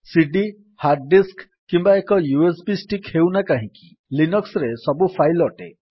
ସିଡି hard disk କିମ୍ବା ଏକ USB stick ହେଉନା କାହିଁକି ଲିନକ୍ସ୍ ରେ ସବୁ ଫାଇଲ୍ ଅଟେ